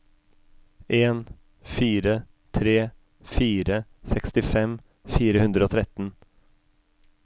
en fire tre fire sekstifem fire hundre og tretten